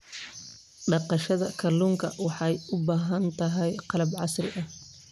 Dhaqashada kalluunka waxay u baahan tahay qalab casri ah.